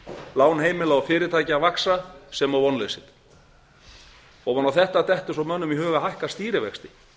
lán heimila og fyrirtækja vaxa sem og vonleysið ofan á þetta dettur svo mönnum í hug að hækka stýrivexti